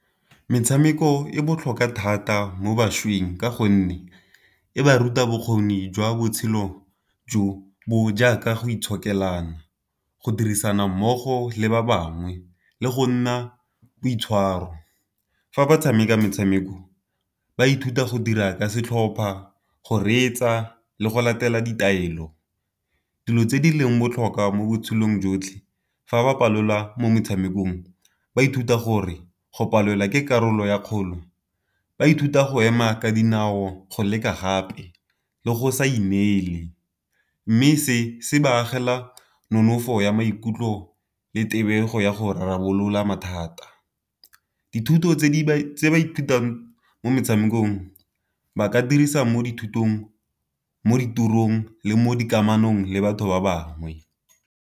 Metshameko e botlhokwa thata mo bašweng ka gonne e ba ruta bokgoni jwa botshelo jo bo jaaka go itshokelana, go dirisana mmogo, le ba bangwe, le go nna boitshwaro. Fa ba tshameka metshameko ba ithuta go dira ka setlhopha, go reetsa, le go latela ditaelo. Dilo tse di leng botlhokwa mo botshelong jotlhe fa ba palelwa mo metshamekong ba ithuta gore go palelwa ke karolo ya kgolo, ba ithuta go ema ka dinao go leka gape, le go sa inela, mme se se ba agela nonofo ya maikutlo le tebego ya go rarabolola thata. Dithuto tse di ba ithutang mo metshamekong ba ka dirisa mo dithutong mo ditorong le mo dikamanong le batho ba bangwe.